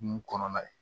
Nun kɔnɔna ye